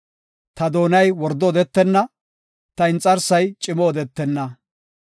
ta doonay wordo odetenna; ta inxarsay cimo odetenna.